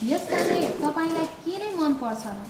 यसबारे तपाईँलाई के नै मन पर्छ र?